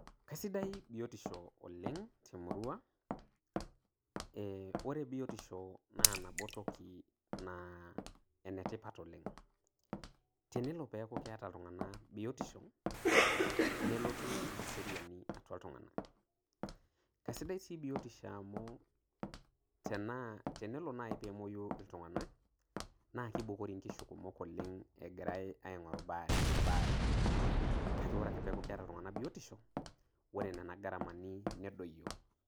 Keisidia biotisho oleng te murua ee ore biotisho naa nabo toki naa enetipat oleng tenelo peeku keeta iltunganak biotisho nelotu eseriani atua iltunganak keisidai sii biotisho amu tenelo naai pee emoiu iltunganak naa keibukori inkishu kumok egirai aing'oru embaare kake ore peeku keeta iltunganak biotisho wore nena garamani nedoyio.